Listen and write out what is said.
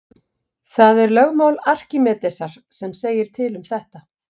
það er lögmál arkímedesar sem segir til um þetta